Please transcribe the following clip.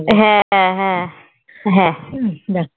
হ্যাঁ হ্যাঁ।